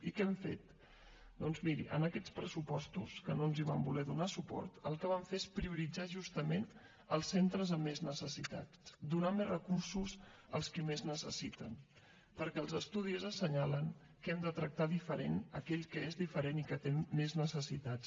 i què hem fet doncs miri en aquests pressupostos que no ens hi van voler donar suport el que vam fer és prioritzar justament els centres amb més necessitats donar més recursos als qui més necessiten perquè els estudis assenyalen que hem de tractar diferent aquell que és diferent i que té més necessitats